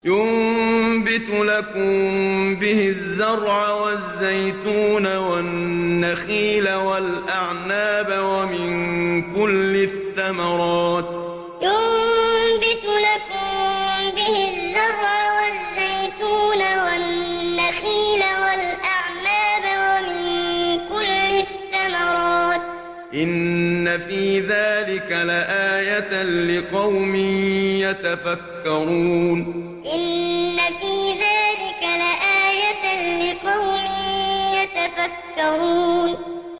يُنبِتُ لَكُم بِهِ الزَّرْعَ وَالزَّيْتُونَ وَالنَّخِيلَ وَالْأَعْنَابَ وَمِن كُلِّ الثَّمَرَاتِ ۗ إِنَّ فِي ذَٰلِكَ لَآيَةً لِّقَوْمٍ يَتَفَكَّرُونَ يُنبِتُ لَكُم بِهِ الزَّرْعَ وَالزَّيْتُونَ وَالنَّخِيلَ وَالْأَعْنَابَ وَمِن كُلِّ الثَّمَرَاتِ ۗ إِنَّ فِي ذَٰلِكَ لَآيَةً لِّقَوْمٍ يَتَفَكَّرُونَ